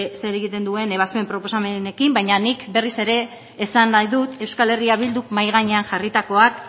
zer egiten duen ebazpen proposamenekin baina nik berriz ere esan nahi dut euskal herria bilduk mahai gainean jarritakoak